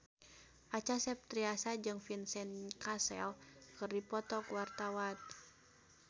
Acha Septriasa jeung Vincent Cassel keur dipoto ku wartawan